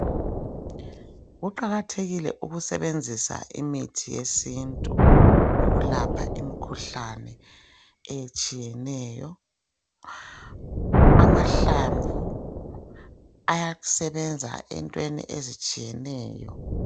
Kuqakathekile ukusebenzisa imithi yesintu ukulapha imikhuhlane etshiyeneyo. Amahlamvu ayasebenza entweni ezitshiyeneyo.